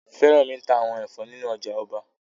Fẹ́rànmi ta àwọn ẹ̀fọ́ nínu ọjà ọba